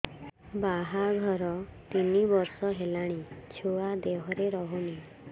ବାହାଘର ତିନି ବର୍ଷ ହେଲାଣି ଛୁଆ ଦେହରେ ରହୁନି